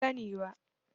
Ban sa ni ba